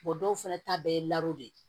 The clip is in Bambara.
dɔw fana ta bɛɛ ye de ye